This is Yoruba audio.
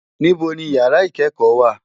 Nibò ni ìyàrá ikèékò wá?